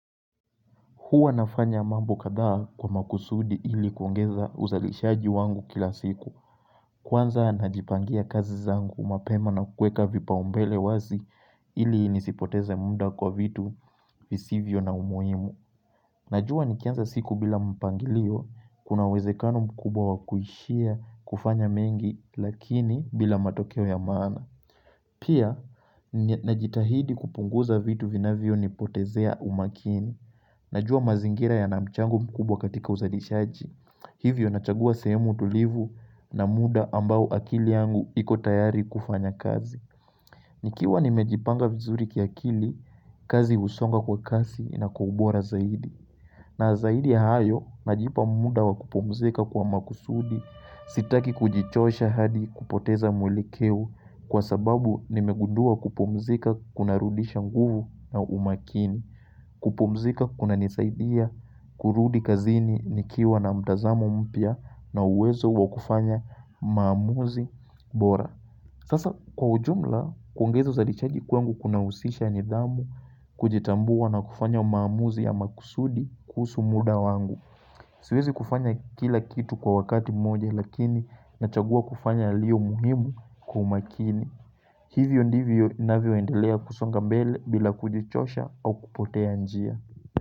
Huwa nafanya mambo kadhaa kwa makusudi ili kuongeza uzalishaji wangu kila siku Kwanza najipangia kazi zangu mapema na kuweka vipaa umbele wazi ili nisipoteze muda kwa vitu visivyo na umuhimu Najua nikianza siku bila mpangilio kuna uwezekano mkubwa kuishia kufanya mengi lakini bila matokeo ya maana Pia najitahidi kupunguza vitu vinavyonipotezea umakini Najua mazingira yana mchango mkubwa katika uzalishaji Hivyo nachagua sehemu tulivu, na muda ambao akili yangu iko tayari kufanya kazi. Nikiwa nimejipanga vizuri kiakili, kazi husonga kwa kasi na kwa ubora zaidi na zaidi ya hayo najipa muda wa kupumzika kwa makusudi. Sitaki kujichosha hadi kupoteza mwelekeo, kwa sababu nimegundua kupumzika kunarudisha nguvu na umakini kupumzika kunanisaidia, kurudi kazini nikiwa na mtazamo mpya na uwezo wa kufanya maamuzi bora Sasa kwa ujumla, kuongeza uzalichaji kwangu kunahusisha nidhamu, kujitambua na kufanya maamuzi ya makusudi kuhusu muda wangu. Siwezi kufanya kila kitu kwa wakati moja lakini nachagua kufanya ilio muhimu kwa umakini Hivyo ndivyo ninavyoendelea kusonga mbele bila kujichosha au kupotea njia.